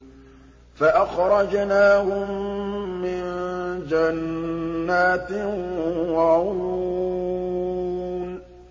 فَأَخْرَجْنَاهُم مِّن جَنَّاتٍ وَعُيُونٍ